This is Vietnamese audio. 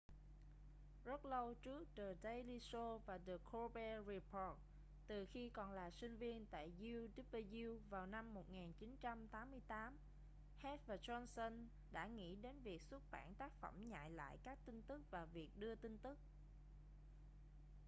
rất lâu trước the daily show và the colbert report từ khi còn là sinh viên tại uw vào năm 1988 heck và johnson đã nghĩ đến việc xuất bản tác phẩm nhại lại các tin tức và việc đưa tin tức